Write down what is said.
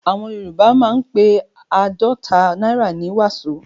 Àwọn Yorùbá máa ń pe àádọ́ta náírà ní "wàsó".